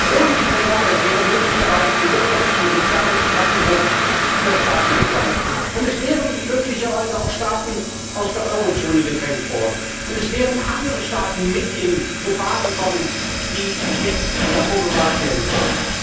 Ohne die Programme wäre es möglicherweise zum wirtschaftlichen und sozialen Zusammenbruch vieler Staaten gekommen, es wären möglicherweise auch Staaten aus der Eurozone gedrängt worden, es wären andere Staaten mit in Gefahr gekommen, die jetzt davor bewahrt werden können.